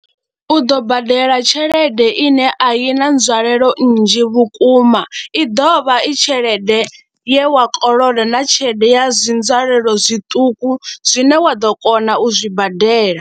U ḓo badela tshelede ine a i na nzwalelo nnzhi vhukuma, i ḓo vha i tshelede ye wa kolodo na tshelede ya zwi nzwalelo zwiṱuku zwine wa ḓo kona u zwi badela.